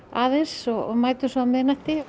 aðeins og mætum svo á miðnætti